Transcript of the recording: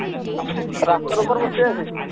রাস্তার ওপর বসে আছে